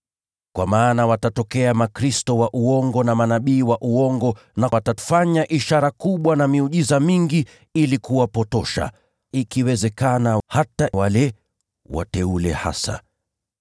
Kwa maana watatokea makristo wa uongo na manabii wa uongo, nao watafanya ishara kubwa na maajabu mengi ili kuwapotosha, ikiwezekana, hata wale wateule hasa.